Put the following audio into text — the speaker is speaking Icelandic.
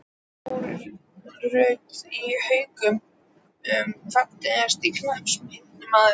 Lára Rut í Haukum Fallegasti knattspyrnumaðurinn?